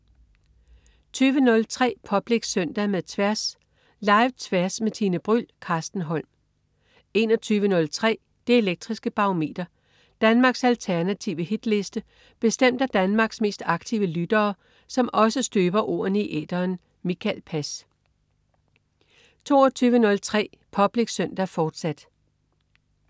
20.03 Public Søndag med Tværs. Live-Tværs med Tine Bryld. Carsten Holm 21.03 Det elektriske Barometer. Danmarks alternative hitliste bestemt af Danmarks mest aktive lyttere, som også støber ordene i æteren. Mikael Pass 22.03 Public Søndag, fortsat